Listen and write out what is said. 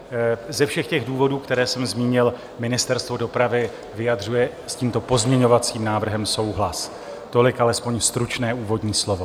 Ze všech těch důvodů, které jsem zmínil, Ministerstvo dopravy vyjadřuje s tímto pozměňovacím návrhem souhlas. Tolik alespoň stručné úvodní slovo.